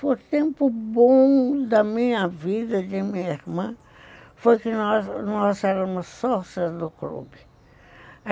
O tempo bom da minha vida, de minha irmã, foi que nós éramos sócias do clube.